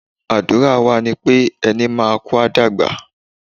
Àdúrà wa ni pé, ẹni máa kú, a dàgbà.